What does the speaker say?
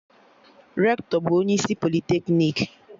Rektọ bụ onye isi politeknik